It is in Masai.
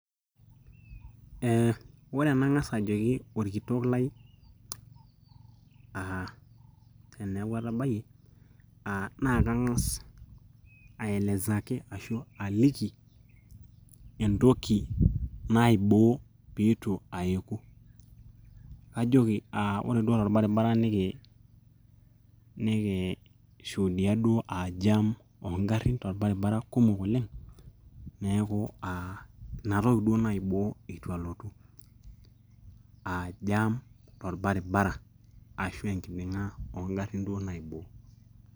Eeh, ore enang'as ajoki orkitok lai aa teneeku atabayie naakang'as aelezaki ashuu aliki entoki naiboo peitu aeku ,ajoki aa ore duo torbaribara niki shuudia aa jam oongarin torbaribara kumok oleng neeku aa inatoki duo naiboo eitu alotu aa jam torbaribara ashua enkiding'a oongarin duo naiboo.